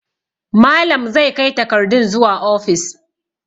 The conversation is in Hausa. Malam zai kai takardun zuwa ofis.